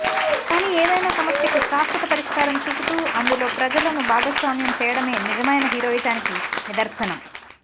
కాని ఏదైనా సమస్యకు శాశ్వత పరిష్కారం చూపుతూ అందులో ప్రజలను భాగస్వామ్యం చేయడమే నిజమైన హీరోయిజానికి నిదర్శనం